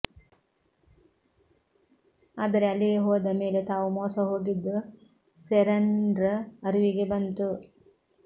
ಆದರೆ ಅಲ್ಲಿಗೆ ಹೋದ ಮೇಲೆ ತಾವು ಮೋಸ ಹೋಗಿದ್ದು ಸೆರನ್್ ಅರಿವಿಗೆ ಬಂತು